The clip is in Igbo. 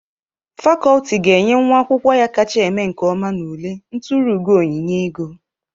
Fakọlti ga-enye nwa akwụkwọ ya kacha eme nke ọma n'ule nturu ugo onyinye ego.